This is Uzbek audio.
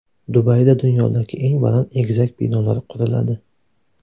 Dubayda dunyodagi eng baland egizak binolar quriladi.